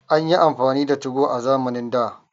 An yi amfani da 2go a zamanin da